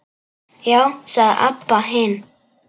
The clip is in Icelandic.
Já, sagði Abba hin.